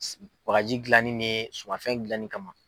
bagaji gilanni ni sumanfɛn gilanni kama.